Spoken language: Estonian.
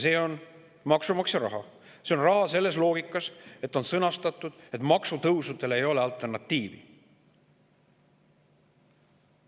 See on maksumaksja raha, see on raha selles loogikas, et on öeldud, et maksutõusudele ei ole alternatiivi.